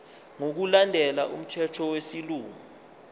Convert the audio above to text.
ngokulandela umthetho wesilungu